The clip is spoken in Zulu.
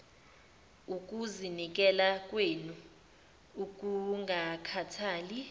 ukuzinikela kwenu okungakhathali